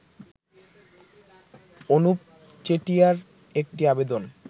অনুপ চেটিয়ার একটি আবেদন